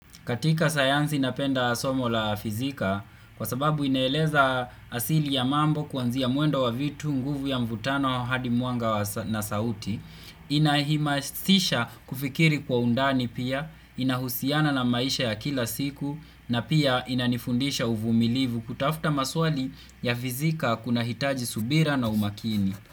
Katika sayanzi napenda somo la fizikia kwa sababu inaeleza asili ya mambo kuanzia mwendo wa vitu, nguvu ya mvutano, hadi mwanga na sauti, inahimasisha kufikiri kwa undani pia, inahusiana na maisha ya kila siku na pia inanifundisha uvumilivu kutafta maswali ya fizika kunahitaji subira na umakini.